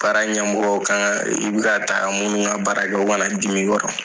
Baara ɲɛmɔgɔ kan ka i bɛ ka taa minnu ka baara kɛ u kana dimi i yɔrɔ.